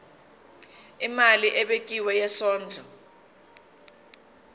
imali ebekiwe yesondlo